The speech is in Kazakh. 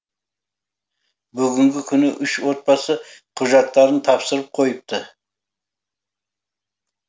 бүгінгі күні үш отбасы құжаттарын тапсырып қойыпты